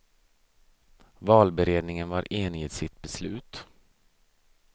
Valberedningen var enig i sitt beslut.